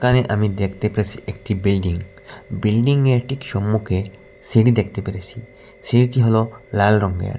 এখানে আমি দেখতে পেরেসি একটি বিল্ডিং বিল্ডিং -এর ঠিক সম্মুখে সিঁড়ি দেখতে পেরেসি সিঁড়িটি হলো লাল রঙের।